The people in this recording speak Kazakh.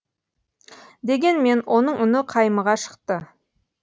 дегенмен оның үні қаймыға шықты